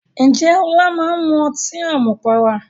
Ǹjẹ́ Ọlá máa ń mu ọtí àmupara?